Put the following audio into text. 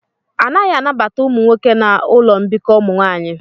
A naghị anabata ụmụ nwoke na ụlọ mbikọ ụmụ nwanyị